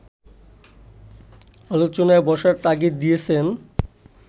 আলোচনায় বসার তাগিদ দিয়েছেন